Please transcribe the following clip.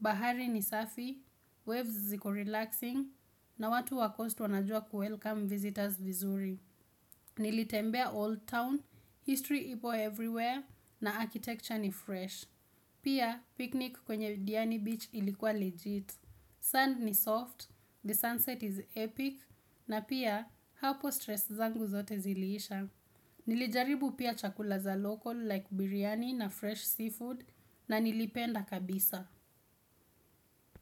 Bahari ni safi, waves ziko relaxing, na watu wa coast wanajua ku welcome visitors vizuri. Nilitembea old town, history ipo everywhere, na architecture ni fresh. Pia, picnic kwenye Diani Beach ilikuwa legit. Sun ni soft, the sunset is epic, na pia hapo stress zangu zote ziliisha. Nilijaribu pia chakula za local like biriyani na fresh seafood na nilipenda kabisa.